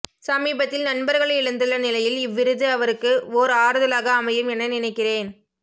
சமீபத்தில் நண்பர்களை இழந்துள்ள நிலையில் இவ்விருது அவருக்கு ஓர் ஆறுதலாக அமையும் என நினைக்கிறேன்